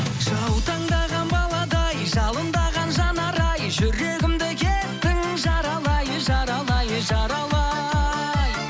жаутаңдаған баладай жалындаған жанарай жүрегімді кеттің жаралай жаралай жаралай